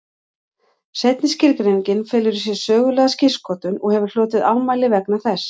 Seinni skilgreiningin felur í sér sögulega skírskotun og hefur hlotið ámæli vegna þess.